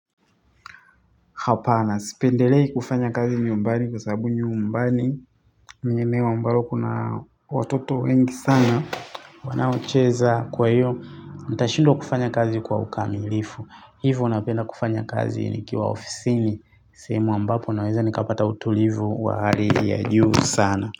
Hapana, sipendelei kufanya kazi nyumbani kwa sababu nyumbani ni eneo ambalo kuna watoto wengi sana. Wanaocheza kwa hiyo, nitashindwa kufanya kazi kwa ukamilifu. Hivo napenda kufanya kazi nikiwa ofisini. Sehemu ambapo naweza nikapata utulivu wa hali ya juu sana.